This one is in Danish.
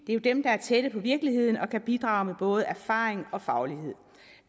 er jo dem der er tætte på virkeligheden og kan bidrage med både erfaringer og faglighed